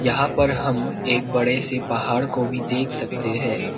यहां पर हम एक बड़े से पहाड़ को भी देख सकते हैं।